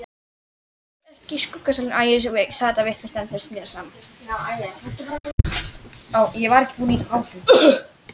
Þar sátu þeir í skuggsælu uns sólin dofnaði.